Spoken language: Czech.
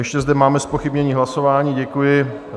Ještě zde máme zpochybnění hlasování, děkuji.